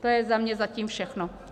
To je za mě zatím všechno.